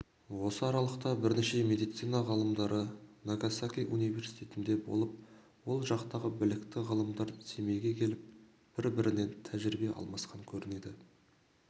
осы аралықта бірнеше медицина ғалымдары нагасаки университетінде болып ол жақтағы білікті ғалымдар семейге келіп бір-бірінен тәжірибие алмасқан көрінеді